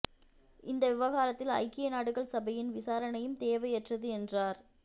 இந்த விவகாரத்தில் ஐக்கிய நாடுகள் சபையின் விசாரணையும் தேவையற்றது என்றார்